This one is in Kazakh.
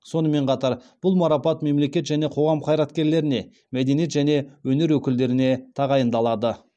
сонымен қатар бұл марапат мемлекет және қоғам қайраткерлеріне мәденеиет және өнер өкілдеріне тағайындалады